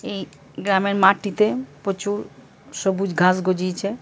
এই গ্রামের মাটিতে প্রচুর সবুজ গাছ গজিয়েছে ।